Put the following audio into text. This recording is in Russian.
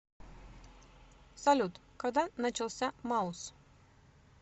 салют когда начался маус